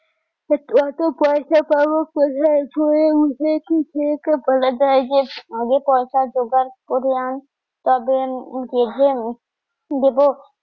অতো পয়সা পাবো কোথা জে আগে পয়সা জগার করে আন তবে দিব